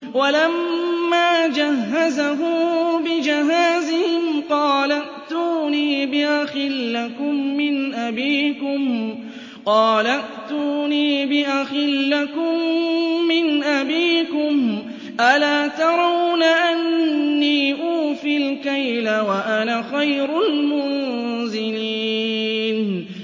وَلَمَّا جَهَّزَهُم بِجَهَازِهِمْ قَالَ ائْتُونِي بِأَخٍ لَّكُم مِّنْ أَبِيكُمْ ۚ أَلَا تَرَوْنَ أَنِّي أُوفِي الْكَيْلَ وَأَنَا خَيْرُ الْمُنزِلِينَ